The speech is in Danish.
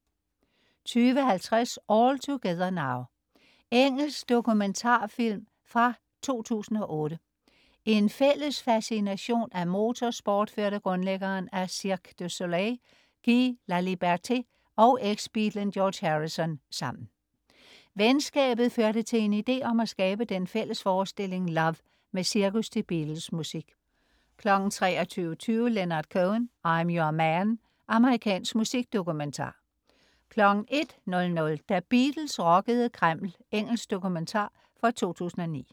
20.50 All Together Now. Engelsk dokumentarfilm fra 2008. En fælles fascination af motorsport førte grundlæggeren af Cirque du Soleil, Guy Laliberté, og eksbeatlen George Harrison sammen. Venskabet førte til en idé om at skabe den fælles forestilling "Love" med cirkus til Beatles-musik 23.20 Leonard Cohen: I'm Your Man. Amerikansk musikdokumentar 01.00 Da Beatles rockede Kreml. Engelsk dokumentar fra 2009